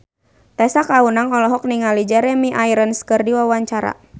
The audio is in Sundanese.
Tessa Kaunang olohok ningali Jeremy Irons keur diwawancara